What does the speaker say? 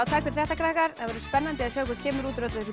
takk fyrir þetta krakkar það verður spennandi að sjá hvað kemur út úr öllu þessu